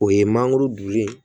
O ye mangoro duni ye